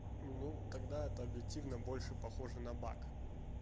ну тогда это объективно больше похоже на бак